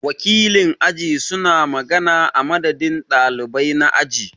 Wakilin aji su na magana a madadin ɗalibai na aji.